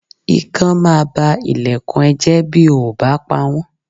Ikán máa ba ilẹ̀kùn ẹ jẹ́ bí o ò bá pawọ̀n.